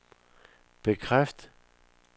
bekræft